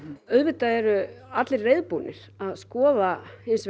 auðvitað eru allir reiðubúnir til að skoða